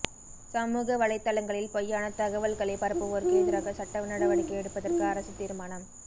சமூக வலைத்தளங்களில் பொய்யானத் தகவல்களைப் பரப்புவோருக்கு எதிராக சட்டநடவடிக்கை எடுப்பதற்கு அரசு தீர்மானம்